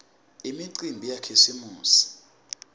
imicimbi yakhisimusi